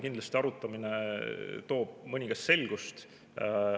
Kindlasti arutamine toob mõningast selgust.